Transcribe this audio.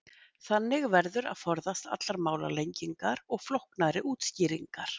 þannig verður að forðast allar málalengingar og flóknari útskýringar